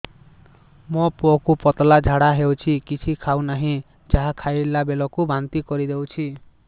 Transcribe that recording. ମୋ ପୁଅ କୁ ପତଳା ଝାଡ଼ା ହେଉଛି କିଛି ଖାଉ ନାହିଁ ଯାହା ଖାଇଲାବେଳକୁ ବାନ୍ତି କରି ଦେଉଛି